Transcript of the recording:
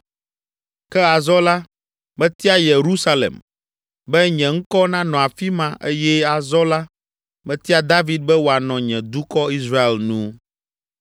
Ke azɔ la, metia Yerusalem, be nye ŋkɔ nanɔ afi ma eye azɔ la metia David be wòanɔ nye dukɔ, Israel nu.’ ”